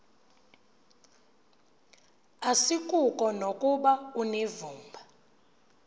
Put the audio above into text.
asikuko nokuba unevumba